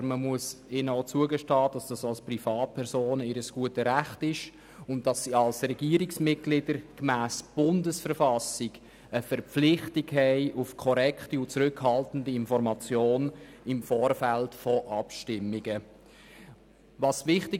Aber man muss ihnen zugestehen, dass dies ihr gutes Recht als Privatperson ist und sie als Regierungsmitglieder gemäss Bundesverfassung der Schweizerischen Eidgenossenschaft (BV) verpflichtet sind, im Vorfeld von Abstimmungen korrekt und zurückhaltend zu informieren.